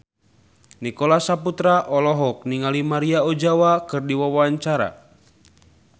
Nicholas Saputra olohok ningali Maria Ozawa keur diwawancara